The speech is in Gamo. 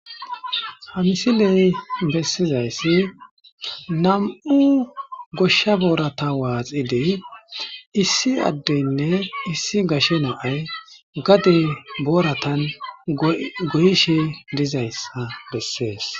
Hamisiley bessizayssi nam'u goshsha borata waaxidiy issi addeynne issi gashe naay gade boratan goyishe dizays bessees.